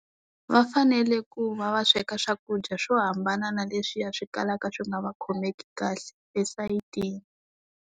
Va fanele ku va va sweka swakudya swo hambana na leswiya swi kalaka swi nga va khomeki kahle esayitini.